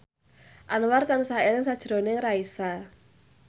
Anwar tansah eling sakjroning Raisa